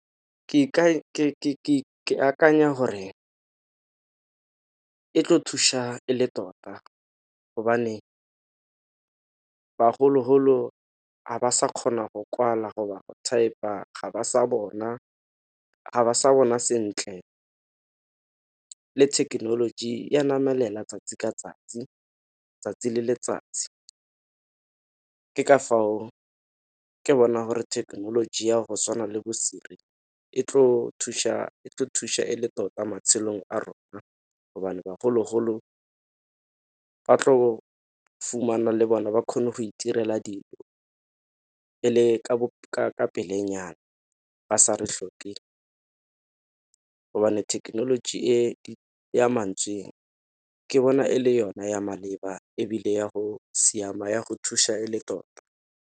Ke akanya gore e tlo thuša e le tota gobane bagologolo ga ba sa kgona go kwala go ba go thaepa ga ba sa bona, ga ba sa bona sentle le thekenoloji ya namelela 'tsatsi le letsatsi. Ke ka fao ke bonang gore thekenoloji ya go tshwana le bo Siri e tlo thuša e le tota matshelong a rona, gobane bagologolo ba tlo fumana le bona ba kgone go itirela dilo, e le ka pele nyana. Ba sa re hloke gobane technology e ya mantswe ke bona e le yona ya maleba ebile ya go siama ya go thuša e le tota.